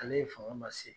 Ale ye fanga ma se